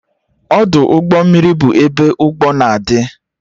Ọdụ ụgbọ mmiri bụ ebe ụgbọ na-adị